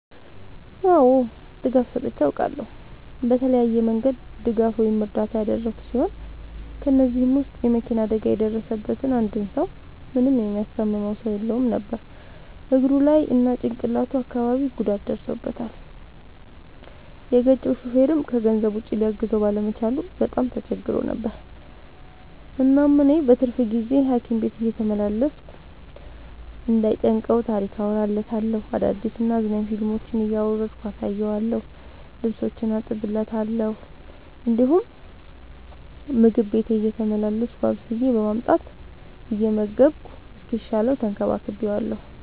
አዎ ድጋፍ ሰጥቼ አውቃለሁ። በተለያየ መንገድ ድጋፍ ወይም እርዳታ ያደረግሁ ሲሆን ከ እነዚህም ውስጥ የ መኪና አደጋ የደረሠበትን አንድ ሰው ምንም የሚያስታምመው ሰው የለውም ነበር እግሩ ላይ እና ጭቅላቱ አካባቢ ጉዳት ደርሶበታል። የገጨው ሹፌርም ከገንዘብ ውጪ ሊያግዘው ባለመቻሉ በጣም ተቸግሮ ነበር። እናም እኔ በትርፍ ጊዜዬ ሀኪም ቤት እየተመላለስኩ እንዳይ ጨንቀው ታሪክ አወራለታለሁ፤ አዳዲስ እና አዝናኝ ፊልሞችን እያወረድኩ አሳየዋለሁ። ልብሶቹን አጥብለታለሁ እንዲሁም ምግብ ቤቴ እየተመላለስኩ አብስዬ በማምጣት እየመገብኩ እስኪሻለው ተንከባክቤዋለሁ።